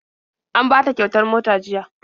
An bata kyautar mota jiya..